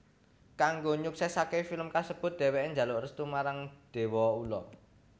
Kanggo nyuksèsaké film kasebut dhèwèké njaluk restu marang déwa ula